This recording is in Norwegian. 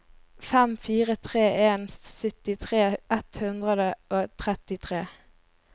fem fire tre en syttitre ett hundre og trettitre